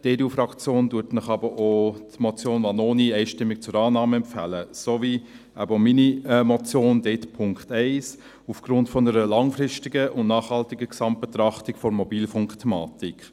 Die EDUFraktion empfiehlt Ihnen aber auch die Motion Vanoni einstimmig zur Annahme sowie eben meine Motion , dort eben den Punkt 1, aufgrund einer langfristigen und nachhaltigen Gesamtbetrachtung der Mobilfunkthematik.